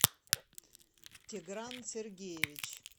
тигран сергеевич